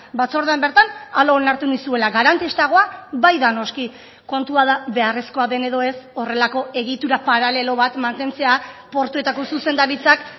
batzordean bertan hala onartu nizuela garantistagoa bai da noski kontua da beharrezkoa den edo ez horrelako egitura paralelo bat mantentzea portuetako zuzendaritzak